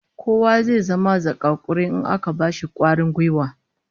Kowa zai zama zakakuri in aka bashi kwarin gwiwa